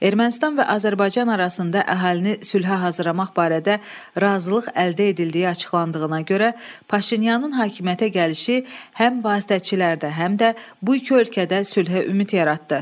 Ermənistan və Azərbaycan arasında əhalini sülhə hazırlamaq barədə razılıq əldə edildiyi açıqlandığına görə Paşinyanın hakimiyyətə gəlişi həm vasitəçilərdə, həm də bu iki ölkədə sülhə ümid yaratdı.